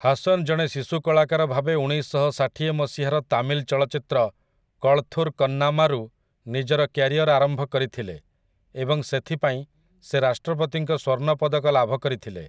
ହାସନ୍ ଜଣେ ଶିଶୁ କଳାକାର ଭାବେ ଉଣେଇଶଶହଷାଠିଏ ମସିହାର ତାମିଲ୍ ଚଳଚ୍ଚିତ୍ର କଳଥୁର୍ କନ୍ନାମାରୁ ନିଜର କ୍ୟାରିଅର ଆରମ୍ଭ କରିଥିଲେ ଏବଂ ସେଥିପାଇଁ ସେ ରାଷ୍ଟ୍ରପତିଙ୍କ ସ୍ୱର୍ଣ୍ଣ ପଦକ ଲାଭକରିଥିଲେ ।